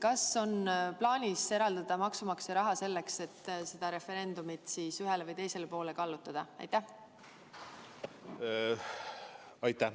Kas on plaanis eraldada maksumaksja raha selleks, et selle referendumi tulemust ühele või teisele poole kallutada?